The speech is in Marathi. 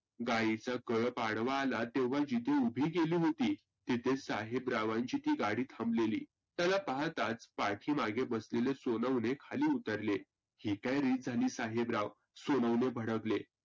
गाईचा कळप आडवा आला तेव्हा जिथे उभी केली होती तिथे साहेबरावांची ती गाडी थांबलेली. त्याला पाहताच पाठिमागे बसलेले सोनवने खाली उतरले ही काय रीत झाली साहेबराव? सोनवने भडकले.